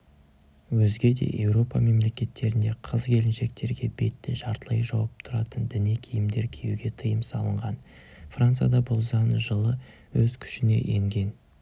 өзге де еуропа мемлекеттерінде қыз-келіншектерге бетті жартылай жауып тұратын діни киімдер киюге тыйым салынған францияда бұл заң жылы өз күшіне енген